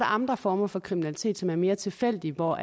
andre former for kriminalitet som er mere tilfældige hvor